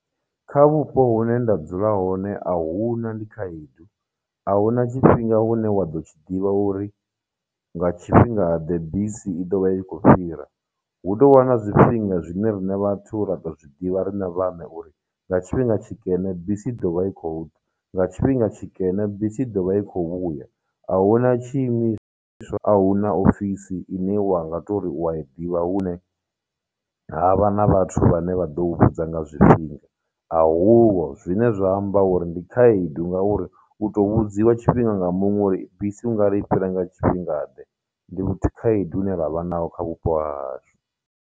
Kha vhupo hune nda dzula hone ahuna ndi khaedu, ahuna tshifhinga hune wa ḓo tshi ḓivha uri nga tshifhingaḓe bisi i ḓo vha i khou fhira, hu tou vha na zwifhinga zwine riṋe vhathu ra tou zwi ḓivha riṋe vhaṋe uri nga tshifhinga tshikene bisi ḓo vha i khou ḓa, nga tshifhinga tshikene bisi ḓovha i khou vhuya, ahuna tshiimiswa ahuna ofisi ine wa nga tou ri u a i ḓivha hune ha vha na vhathu vhane vha ḓo u vhudza nga zwifhinga, a hu ho, zwine zwa amba uri ndi khaedu ngauri u tou vhudziwa tshifhinga nga muṅwe uri bisi ungari i fhira nga tshifhinga ndi khaedu ine ra vha nayo kha vhupo ha hashu.